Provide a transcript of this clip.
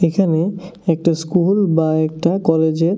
এখানে একটা স্কুল বা একটা কলেজের--